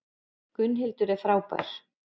Gunnhildur er frábær.